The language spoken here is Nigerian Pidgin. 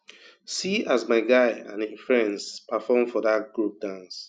see as my guy and him friends perform for dat group dance